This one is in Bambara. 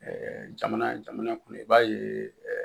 jamana jamana kɔnɔ i b'a ye